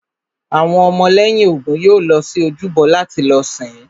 Àwọn ọmọ lẹ́yìn Ògún yóò lọ sí ojúbọ láti lọ sìn-ín